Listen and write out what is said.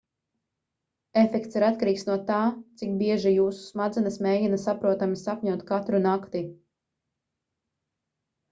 efekts ir atkarīgs no tā cik bieži jūsu smadzenes mēģina saprotami sapņot katru nakti